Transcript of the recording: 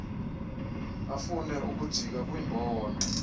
afune ukujika kwiimbono